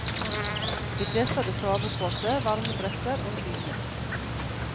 De fleste hadde sovepose, varmedresser og dyner.